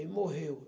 E morreu.